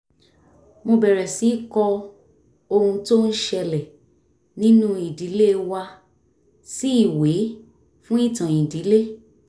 mo bẹ̀rẹ̀ sí í kọ ohun tó ń ṣẹlẹ̀ nínú ìdílé wa sí ìwé fún ìtàn ìdílé